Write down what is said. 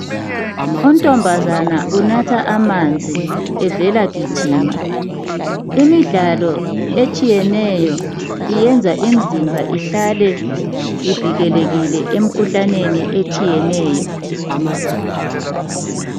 Untombazana unatha amanzi evela gijima. Imidlalo etshiyeneyo iyenza imizimba ihlale ivikelekile emikhuhlaneni etshiyeneyo